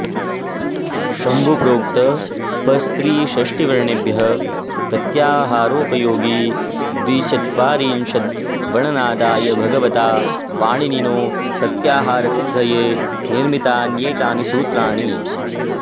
शम्भुप्रोक्त पस्त्रिषष्टिवर्णेभ्यः प्रत्याहारोपयोगिद्विचत्वारिंशद्वणनादाय भगवता पाणिनिनो प्रत्याहारसिद्धये निर्मितान्येतानि सूत्राणि